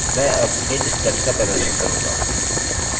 मैं अब इन steps का प्रदर्शन करूँगा